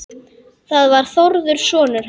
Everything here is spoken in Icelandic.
Það var Þórður sonur hans.